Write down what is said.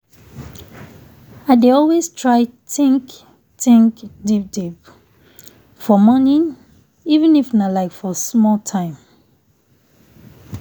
i dey always try think think deep deep for morning even if nah like for small time.